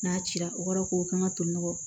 N'a cira o kɔrɔ ko kan ka to nɔgɔ